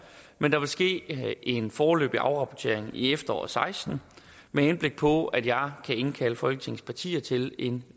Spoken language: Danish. men der vil ske en foreløbig afrapportering i efteråret og seksten med henblik på at jeg kan indkalde folketingets partier til en